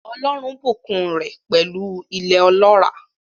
Ọlọ́run bùkún un rẹ̀ pẹ̀lú ilẹ̀ ọlọ́ràá.